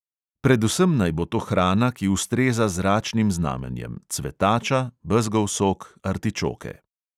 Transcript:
Predvsem naj bo to hrana, ki ustreza zračnim znamenjem: cvetača, bezgov sok, artičoke.